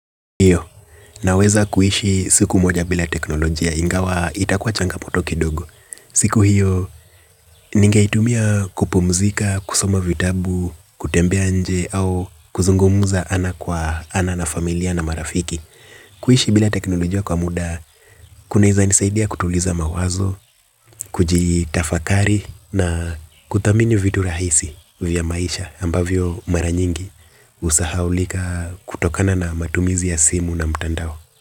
Iyo, naweza kuishi siku moja bila teknolojia ingawa itakuwa changamoto kidogo. Siku hiyo, ningeitumia kupumzika, kusoma vitabu, kutembea nje au kuzungumza ana kwa ana na familia na marafiki. Kuishi bila teknolojia kwa muda, kunaeza nisaidia kutuliza mawazo, kujitafakari na kuthamini vitu rahisi vya maisha ambavyo mara nyingi. Husahaulika kutokana na matumizi ya simu na mtandao.